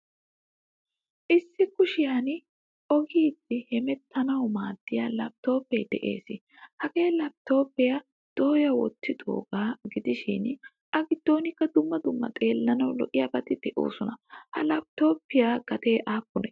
Issi kushiyan oyggidi hemetanawu maadiyaa laptopee de'ees. Hagaa laptopiyaa doya wottoga gidishin a giddonkka dumma dumma xeellanawu lo'iyabati deosona. Ha laptopiyaa gatee appune?